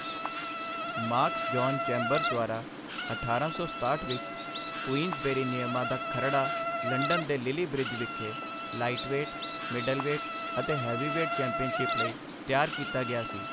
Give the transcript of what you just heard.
Marks John Chambers ਦੁਆਰਾ ਅਠਾਰਾਂ ਸੀਂ ਸਤਾਹਠ ਵਿੱਚ, ਕੁਈਨਜ਼ਬੇਰੀ ਨਿਯਮਾਂ ਦਾ ਖਰੜਾ ਲੰਡਨ ਦੇ ਲਿਲੀ ਬ੍ਰਿਜ ਵਿਖੇ ਲਾਈਟਵੇਟ, ਮਿਡਲਵੇਟ ਅਤੇ ਹੈਵੀਵੇਟ ਚੈਂਪੀਅਨਸ਼ਿਪ ਲਈ ਤਿਆਰ ਕੀਤਾ ਗਿਆ ਸੀ।